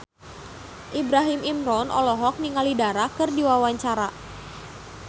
Ibrahim Imran olohok ningali Dara keur diwawancara